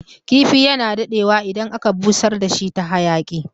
Kifi yana dadewa idan aka busar dashi ta hayaƙi